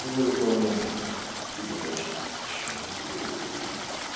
и в этот момент ты думаешь что почему его продают за деньги